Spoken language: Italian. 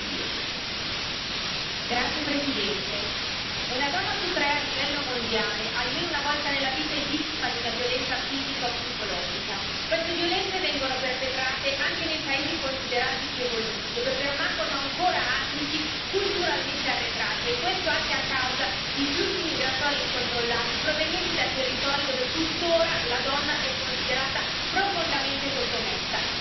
Signor Presidente, onorevoli colleghi, una donna su tre a livello mondiale almeno una volta nella vita è vittima di una violenza fisica o psicologica. Queste violenze vengono perpetrate anche nei paesi considerati più evoluti, dove permangono ancora ambiti culturalmente arretrati, e questo anche a causa di flussi migratori incontrollati, provenienti da territori dove tuttora la donna è considerata profondamente sottomessa.